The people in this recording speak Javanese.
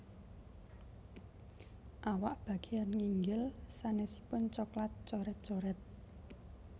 Awak bageyan nginggil sanésipun coklat coret coret